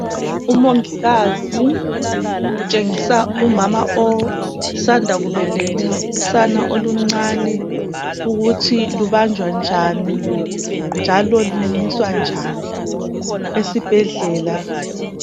Umongikazi utshengisa umama osanda kubeletha usana oluncane ukuthi lubanjwa njani njalo lumunyiswa njani esibhedlela.